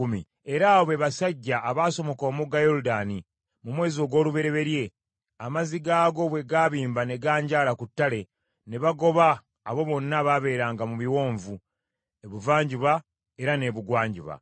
Era abo be basajja abaasomoka omugga Yoludaani, mu mwezi ogw’olubereberye, amazzi gaagwo bwe gaabimba ne ganjaala ku ttale ne bagoba abo bonna abaabeeranga mu biwonvu, ebuvanjuba era n’ebugwanjuba.